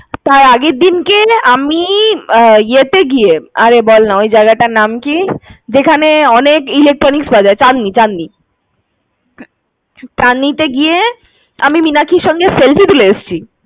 তার আগেরদিনকে আমি ইয়ে তে গিয়ে আরে বলনা, ওই জায়গাটার নাম কি? যেখানে অনেক electronics পাওয়া যায়। চাঁদনী ~চাঁদনী। চাদঁনীতে গিয়ে আমি মীনাক্ষীর সঙ্গে selfie তুলে এসেছি।